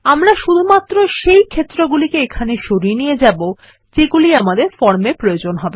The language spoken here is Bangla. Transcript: আমরা শুধুমাত্র সেই ক্ষেত্রগুলিকে এখানে সরিয়ে নিয়ে যাবো যেগুলি আমাদের ফর্ম এ প্রয়োজন হবে